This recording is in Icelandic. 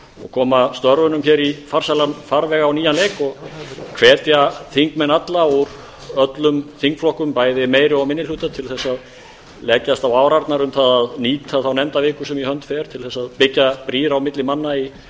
koma störfunum hér í farsælan farveg á nýjan leik og hvetja þingmenn alla úr öllum þingflokkum bæði meiri og minni hluta til að leggjast á árarnar um að nýta þá nefndaviku sem í hönd fer til að byggja brýr á milli manna í